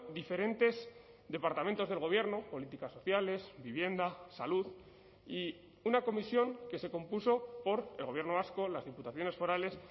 diferentes departamentos del gobierno políticas sociales vivienda salud y una comisión que se compuso por el gobierno vasco las diputaciones forales